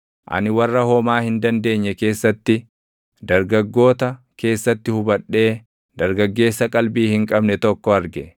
Ani warra homaa hin dandeenye keessatti, dargaggoota keessatti hubadhee dargaggeessa qalbii hin qabne tokko arge.